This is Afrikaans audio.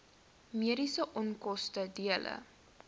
mediese onkoste dele